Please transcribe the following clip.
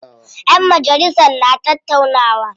Ƴan majalisan na tattaunawa.